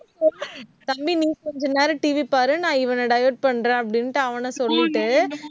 தம்பி, நீ கொஞ்ச நேரம் TV பாரு, நான் இவனை divert பண்றேன் அப்படின்னுட்டு அவன சொல்லிட்டு